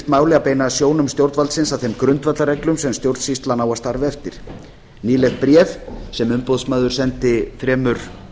að beina sjónum stjórnvaldsins að þeim grundvallarreglum sem stjórnsýslan á að starfa eftir nýleg bréf sem umboðsmaður sendi þremur